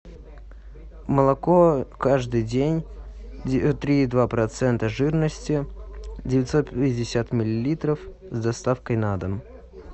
молоко каждый день три и два процента жирности девятьсот пятьдесят миллилитров с доставкой на дом